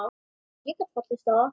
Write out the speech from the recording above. Ég gat fallist á það.